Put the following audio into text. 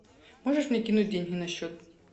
можешь мне кинуть деньги на счет